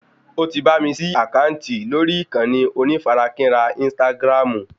O ti bá mi ṣí àkáǹtì lórí ìkànnì onífarakínra ínstágráàmù